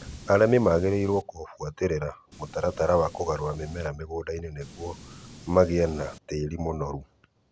Arĩmi magĩrĩirũo gubuatĩrĩra mũtaratara wa kũgarũra mĩmera mũgũnda-inĩ nigũo magĩe na tĩĩri mũnoru